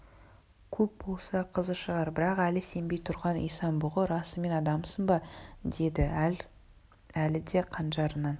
көп болса қызы шығар бірақ әлі сенбей тұрған исан-бұғы расымен адамсың ба деді әлі де қанжарынан